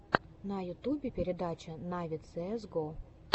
на ютюбе передача нави цээс го